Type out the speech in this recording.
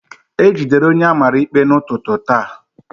E jidere onye a mara ikpe n'ụtụtụ taa